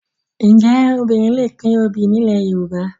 Ǹjẹ́ obìnrin lè pín obì nílẹ̀ Ígbò?